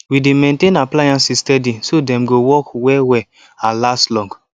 we dey maintain appliances steady so dem go work well well and last long